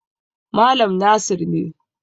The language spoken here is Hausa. Malam Nasir ne.